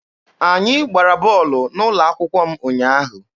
Anyị gbara bọọlụ n'ụlọ akwụkwọ m ụnyaahụ.